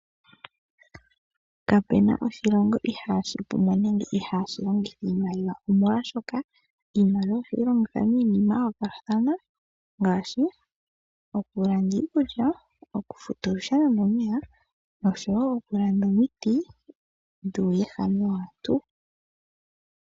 Kapena oshilongo ihaashi pumbwa nenge ihaashi longitha iimaliwa. Omolwaashoka iimaliwa ohayi longithwa miinima ya yoolokathana. Ngaashi okulanda iikulya, okufuta olusheno nomeya, osho wo okulanda omiti dhuuwehame waantu.